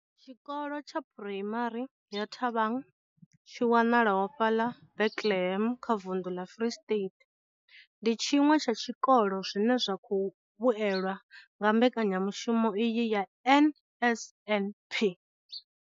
Tshikolo tsha phuraimari ya Thabang tshi wanalaho fhaḽa Bethlehem kha vunḓu ḽa Free State, ndi tshiṅwe tsha tshikolo zwine zwa khou vhuelwa nga mbekanyamushumo iyi ya NSNP.